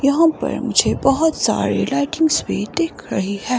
यहां पर मुझे बहोत सारी लाइटिंग्स भी दिख रही है।